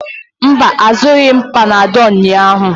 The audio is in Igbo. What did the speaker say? Mba, azụrụghị m panadolu ụnyahụ.